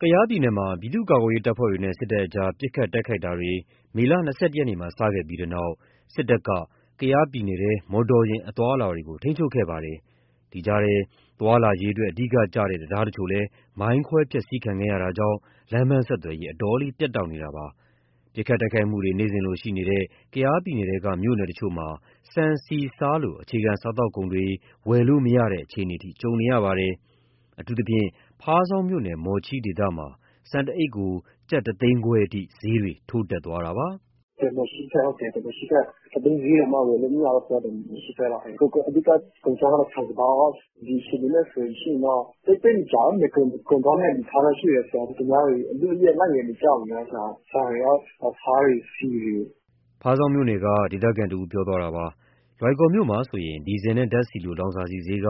ကယားပြည်နယ်မှာ ပြည်သူ့ကာကွယ်ရေးတပ်ဖွဲ့တွေနဲ့ စစ်တပ်ကြား ပစ်ခတ် တိုက်ခိုက်မှုတွေ မေလ ၂၁ ရက်နေ့မှာ စခဲ့ပြီးနောက် စစ်တပ်က ကယားပြည်နယ်ထဲ မော်တော်ယာဉ် အသွားအလာတွေ ထိန်းချုပ်ခဲ့ပါတယ်။ ဒီကြားထဲ သွားလာရေးအတွက် အဓိကကျတဲ့ တံတားတချို့လည်း မိုင်းခွဲ ဖျက်ဆီးခံခဲ့ရတာကြောင့် လမ်းပန်းဆက်သွယ်ရေး အတော်လေး ပြတ်တောက်နေတာပါ။ ပစ်ခတ်တိုက်ခိုက်မှုတွေ နေ့စဉ်လိုရှိနေတဲ့ ကယားပြည်နယ်ထဲက တချို့မြို့နယ်တွေမှာ ဆန်၊ ဆီ၊ ဆားလို အခြေခံ စားသောက်ကုန်တွေ ဝယ်လို့မရတဲ့ အခြေအနေအထိ ကြုံနေရပါတယ်။ အထူးသဖြင့် ဖားဆောင်းမြို့နယ်၊ မော်ချီးဒေသမှာ ဆန်တအိတ်ကို ကျပ် ၁၅၀,၀၀၀ အထိ ဈေးတွေထိုးတက်သွားတာပါ။ “ဟုတ်တယ် မော်ချီးဘက်၊ ၁ သိန်းဈေးတောင်မှ ဝယ်လို့မရဘူး အဲဒီလို။ အဓိက ကုန်ခြောက်ရော၊ ဆန်စပါးရော။ ဒီအခြေအနေနဲ့ဆိုလို့ရှိရင်တော့ သိပ်မကြာဘူး... ကုန်သွားမယ့် အနေအထားတော့ ရှိတယ်၊ သူများတွေ အလုအယက် လိုက်ဝယ်နေကြပြီ။ ဆန်တွေ၊ ဆားတွေ၊ ဆီတွေ။” ဖားဆောင်းမြို့နယ်က ဒေသခံတဦးပြောသွားတာပါ။ လွိုင်ကော်မြို့မှာဆိုရင် ဒီဇယ်နဲ့ ဓာတ်ဆီလို လောင်စာဆီဈေးက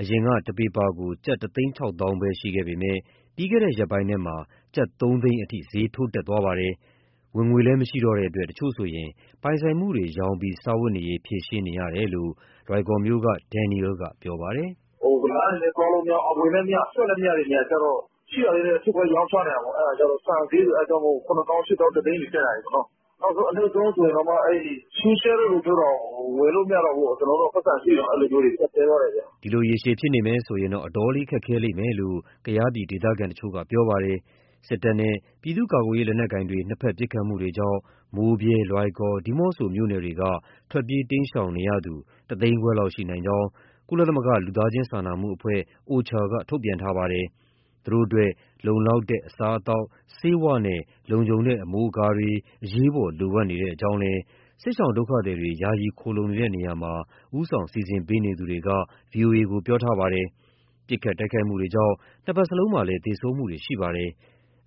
အရင်က တပီပါကို ကျပ် ၁၆၀,၀၀၀ ပဲရှိပေမဲ့ ပြီးခဲ့တဲ့ရက်ပိုင်းထဲမှာ ကျပ် ၃၀၀,၀၀၀ အထိ ဈေးထိုးတက်သွားပါတယ်။ ဝင်ငွေလည်း မရှိတော့တဲ့အတွက် တချို့ဆိုရင် ပိုင်ဆိုင်မှုတွေ ရောင်းချပြီး စားဝတ်နေရေး ဖြေရှင်းရကြောင်း လွိုင်ကော်မြို့က ဒန်နီရဲလ်က ပြောပါတယ်။ “လမ်းတွေလည်း သွားလို့မရဘူး၊ အဝင်လည်းမရ အထွက်လည်း မရတဲ့ နေရာတွေကျ ရှိတာလေးတွေ ထုခွဲရောင်းချနေရတာပေါ့။ အဲဒါမို့ ဆန်ဈေးဆိုရင် ၇၀,၀၀၀၊ ၈၀,၀၀၀၊ ၁၀၀,၀၀၀ တွေ တက်လာတာ။ အနိမ့်ဆုံးဆိုရင်တောင်မှ ရှုးရှဲ (အသင့်စားလက်ဖက်ထုပ်) တောင် ဝယ်လို့မရတော့ဘူး။ ပိုက်ဆံရှိရင်တောင်မှ ကျပ်တည်းသွားတယ်။” ဒီလိုရေရှည်ဖြစ်နေမယ်ဆိုရင် အတော်လေး ခက်ခဲလိမ့်မယ်လို့ ကယားဒေသခံတချို့က ပြောပါတယ်။ စစ်တပ်နဲ့ ပြည်သူ့ကာကွယ်ရေး လက်နက်ကိုင်တွေ နှစ်ဘက် ပစ်ခတ်မှုတွေကြောင့် မိုးဗြဲ၊ လွိုင်ကော်၊ ဒီးမော့ဆို မြို့နယ်တွေက ထွက်ပြေးတိမ်းရှောင်နေရသူဟာ ၁၅၀,၀၀၀ လောက်ရှိနိုင်ကြောင်း ကုလစာနာမှုအဖွဲ့ OCHA ကထုတ်ပြန်ထားပါတယ်။ သူတို့အတွက် လုံလောက်တဲ့ အစားအသောက်၊ ဆေးဝါးနဲ့ လုံခြုံတဲ့ အမိုးအကာတွေ အရေးပေါ် လိုအပ်နေကြောင်းလည်း စစ်ရှောင်ဒုက္ခသည်တွေ ယာယီခိုလှုံနေတဲ့နေရာမှာ ဦးဆောင်စီစဉ်ပေးနေသူတွေက ဗွီအိုအေကို ပြောပါတယ်။ ပစ်ခတ် တိုက်ခိုက်မှုတွေကြောင့် နှစ်ဘက်စလုံးမှာ သေဆုံးမှုတွေ ရှိပါတယ်။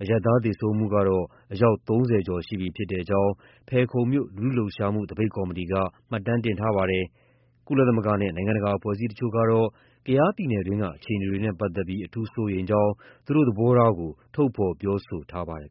အရပ်သားသေဆုံးမှုကတော့ အယောက် ၃၀ ကျော်ရှိကြောင်း ဖယ်ခုံမြို့ လူထုလှုပ်ရှားမှု သပိတ်ကော်မတီက မှတ်တမ်းတင်ထားတာပါ။ ကုလသမဂ္ဂနဲ့ နိုင်ငံတကာ အဖွဲ့အစည်းတချို့ကတော့ ကယားပြည်နယ်တွင်းက အခြေအနေတွေနဲ့ ပတ်သက်ပြီး အထူးစိုးရိမ်ကြောင်း သူတို့ရဲ့ သဘောထားကို ထုတ်ဖော်ပြောဆိုထားပါတယ်